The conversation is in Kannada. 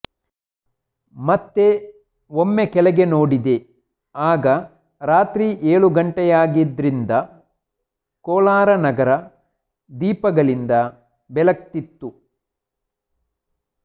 ಮತ್ತೆ ಒಮ್ಮೆ ಕೆಳಗೆ ನೋಡಿದೆ ಆಗ ರಾತ್ರಿ ಏಳು ಗಂಟೆಯಾಗಿದ್ರಿಂದ ಕೋಲಾರ ನಗರ ದೀಪಗಳಿಂದ ಬೆಳಗ್ತಿತ್ತು